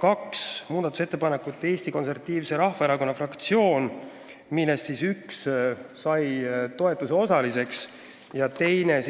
Kaks muudatusettepanekut esitas ka Eesti Konservatiivse Rahvaerakonna fraktsioon, millest üks sai riigikaitsekomisjoni toetuse osaliseks ja teine